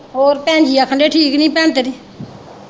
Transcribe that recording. ਹੋਰ ਭੈਣਜੀ ਆਖਣ ਦੀ ਹੀ ਠੀਕ ਨਹੀਂ ਭੈਣ ਤੇਰੀ